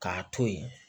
K'a to yen